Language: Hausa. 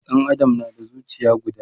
Ɗan Adam na da zucia guda